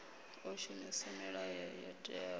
o shumisa milayo yo teaho